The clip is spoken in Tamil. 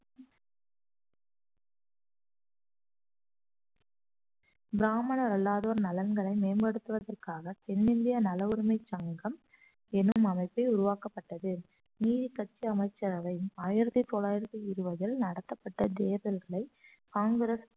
பிராமணர் அல்லாதோர் நலன்களை மேம்படுத்துவதற்காக தென்னிந்திய நல உரிமைச் சங்கம் எனும் அமைப்பில் உருவாக்கப்பட்டது நீதிக்கட்சி அமைச்சரவை ஆயிரத்தி தொள்ளாயிரத்தி இருவதில் நடத்தப்பட்ட தேர்தல்களை காங்கிரஸ்